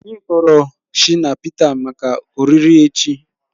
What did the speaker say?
Anyị kpọrọ Shina Pịta maka oriri echi